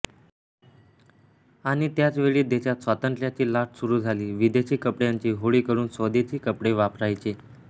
आणि त्याच वेळी देशात स्वातंत्ऱ्याची लाट सुरू झाली विदेशी कपड्यांची होळी करून स्वदेशी कपडे वापरायचे